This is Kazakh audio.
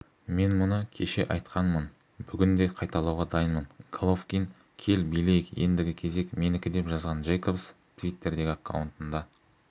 мен мұны кеше айтқанмын бүгін де қайталауға дайынмын головкин кел билейік ендігі кезек менікі деп жазған джейкобс твиттердегі аккаунтында